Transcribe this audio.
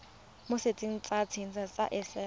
mo setsheng sa inthanete sa